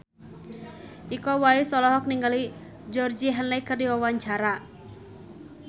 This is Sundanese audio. Iko Uwais olohok ningali Georgie Henley keur diwawancara